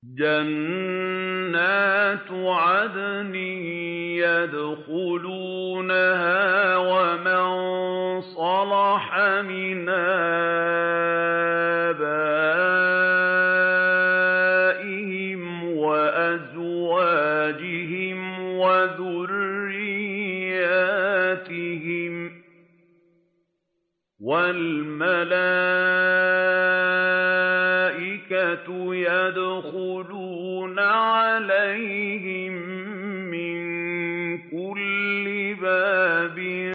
جَنَّاتُ عَدْنٍ يَدْخُلُونَهَا وَمَن صَلَحَ مِنْ آبَائِهِمْ وَأَزْوَاجِهِمْ وَذُرِّيَّاتِهِمْ ۖ وَالْمَلَائِكَةُ يَدْخُلُونَ عَلَيْهِم مِّن كُلِّ بَابٍ